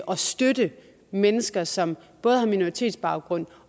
og støtte mennesker som både har minoritetsbaggrund